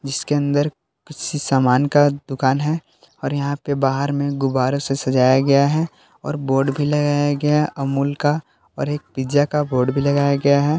इसके अंदर किसी सामान का दुकान है और यहां पे बाहर में गुब्बारे से सजाया गया है और बोर्ड भी लगाया गया है अमूल का ओर एक पिज़्ज़ा का बोर्ड भी लगाया गया है।